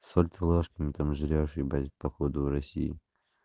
соль ты ложками там жрёшь ебать походу в россии